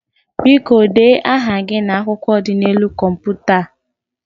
Biko, dee aha gị n'akwụkwọ dị n'elu kọmputa a.